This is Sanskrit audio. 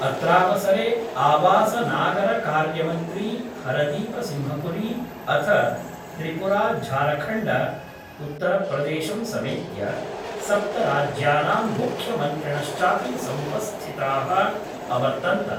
अत्रावसरे आवासनागरकार्यमन्त्री हरदीपसिंहपुरी, अथ त्रिपुरा झारखण्ड, उत्तरप्रदेशं समेत्य सप्तराज्यानां मुख्यमन्त्रिणश्चापि समुपस्थिता: अवर्तन्त।